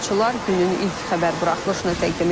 Günün ilk xəbər buraxılışını təqdim edirik.